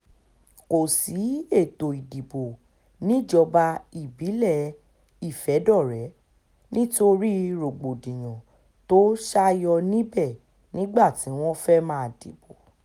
kò sí ètò ìdìbò níjọba ìbílẹ̀ ìfẹ̀dọ̀rẹ́ nítorí rògbòdìyàn tó ṣàyò níbẹ̀ nígbà tí wọ́n fẹ́ẹ́ máa dìbò